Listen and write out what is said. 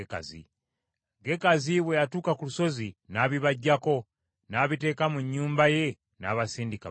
Gekazi bwe yatuuka ku lusozi, n’abibaggyako, n’abiteeka mu nnyumba ye, n’abasindika bagende.